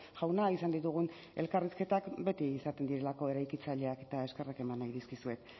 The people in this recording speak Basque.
jauna izan ditugun elkarrizketak beti izaten direlako eraikitzaileak eta eskerrak eman nahi dizkizuet